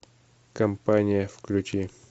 компания включи